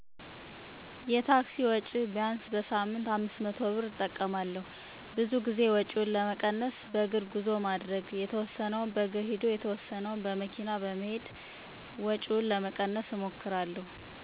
500ብር እጠቀማለሁ፣ ብዙ ጊዜ ወጭውን ለመቀነስ በእግር ጉዞ ማድረግ፣ የተወሰነውን በእግር ሂዶ የተወሰነውን በመኪና መሄድ።